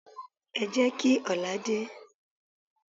Ẹ jẹ́ kí ọ̀la dé.